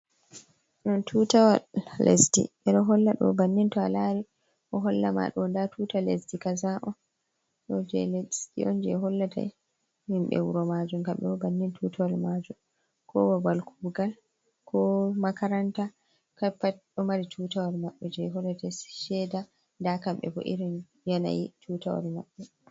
Don tutawol lesdi be do holla do bannin to alari o holla ma do da tuta lesdi kaza’on, je lesdi un je hollata himbe wuro majum kambe bo bannin tutawal majum ko babal kugal ko makaranta kapat do mari tutawol mabbe je hollata sheda da kambe bo irin yanayi tutawol mabbe.